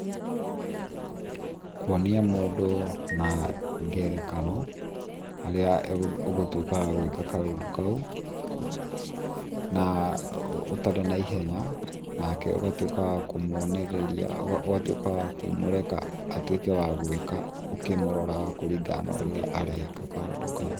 kūonīa mūndū na ngerekano harīa ūngūtūkīa wa gūīka kaūndū kaū na ūtarī naīhenya nakeūgatūika wa kūmonererīa, ūngatūīka wa kūmūreka atūīke wa gūīka ūkīmororaga kūrīgana na ūrīa areeka kaūndū kaū